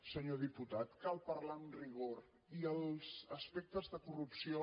senyor diputat cal parlar amb rigor i els aspectes de corrupció